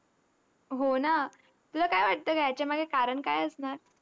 हो ना? तुला काय वाटतं गं, ह्याच्यामागे कारण काय असणार?